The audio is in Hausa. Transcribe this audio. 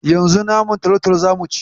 Yanzu naman talatalo za mu ci.